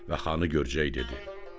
və xanı görcək dedi.